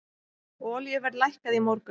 Olíuverð lækkaði í morgun.